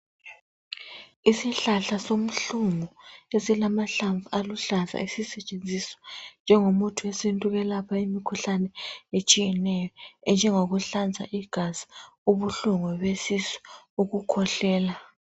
isihlahla somhlungu esilamahlamvu aluhlaza esisetshenziswa njengomuthi wesintu ukwelapha imikhuhlane etshiyeneyo enjengokuhlanza igazi ubuhlungu besisu lukhwehlela.